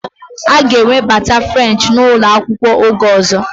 A ga-ewebata French n'ụlọ akwụkwọ, oge ọzọ